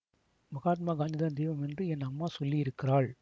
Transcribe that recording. மகாத்மா காந்திதான் தெய்வம் என்று என் அம்மா சொல்லி இருக்கிறாள்